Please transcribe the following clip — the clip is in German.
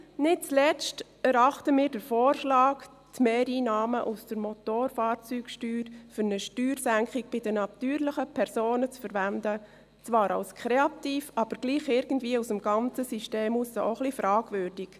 Nicht zuletzt erachten wir den Vorschlag, die Mehreinnahmen aus der Motorfahrzeugsteuer für eine Steuersenkung bei den natürlichen Personen zu verwenden, zwar als kreativ, aber gleichwohl aus dem ganzen System heraus auch als ein wenig fragwürdig.